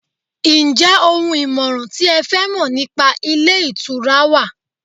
njé oun ìmọràn ti e fẹ Mọ nipa ilé ìtura wa